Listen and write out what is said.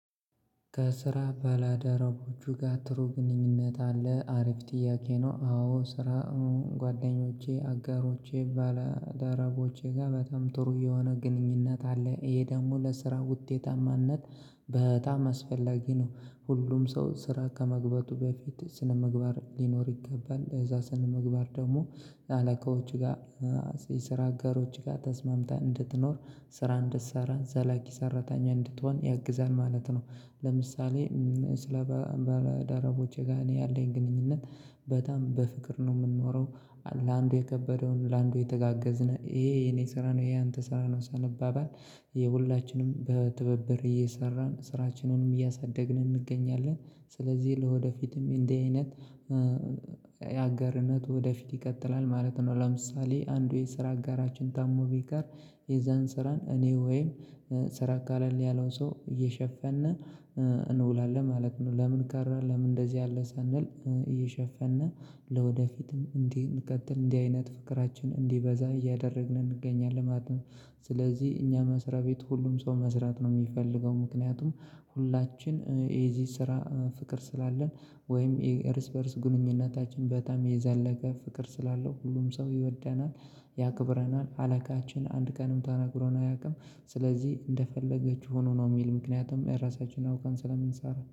ከስራ ባላደረቦቹ ጋር ጥሩ ግንኙነት አለ አሪፍ ጥያቄ ነው። አዎ ስራ ጓደኞቼ አጋሮቼ ባለ ደረቦቼ ጋር በተም ጥሩ የሆነ ግንኙነት አለ ይሄ ደግሞ ለስራ ውጤታማነት በጣም አስፈላጊ ነው። ሁሉም ሰው ስራ ከመግበቱ በፊት ስነምግባር ሊኖር ይገባል እዛ ስነምግባር ደግሞ አለቆች ጋር የስራ አጋሮች ጋር ተስማምተህ እንድትኖር ስራ እንድትሰራ ዘላቂ ሰራተኛ እንድትሆን ያግዛል ማለት ነው። ለምሳሌ ስለ በደረቦቼ ጋር እኔ ያለኝ ግንኙነት በጣም በፍቅር ነው የምንኖረው። ለአንዱ የከበደውን ለአንዱ የተጋገዝነው ይሄ የኔ ስራ ነው ይሄ ያንተ ስራ ነው ሰነባባል ይሄ ሁላችንም በትብብር እየሰራን ስራችንንም እያሳደግን እንገኛለን። ስለዚህ ለወደፊትም እንደዚህ አይነት የአገርነት ወደፊት ይቀጥላል ማለት ነው። ለምሳሌ አንዱ የስራ አጋራችን ታሞ ቢቀር የዛን ስራን እኔ ወይም ስራ አካል ያለው ሰው እየሸፈነ እንውላለን ማለት ነው። ለምን ቀረ ለምን እንደዚህ አለ ሳንል እየሸፈንን። ለወደፊትም እንዲህ እንከትል እንዲህ አይነት ፍቅራችን እንዲበዛ እያደረግን እንገኛለን ማለት ነው። ስለዚህ እኛ መስሪያ ቤት ሁሉም ሰው መስራት ነው የሚፈልገው ምክንያቱም ሁላችን የዚህ ስራ ፍቅር ስላለን ወይም የርስ በርስ ግንኙነታችን በጣም የዘለቀ ፍቅር ስላለው ሁሉም ሰው ይወደናል። ያክብረናል አለቃችን አንድ ቀንም ተነግሮን አያውቅም። ስለዚህ እንደፈለገ ሆኑ ነው የሚል ምክንያቱም የራሳችንን አውቀን ስለምንሰራ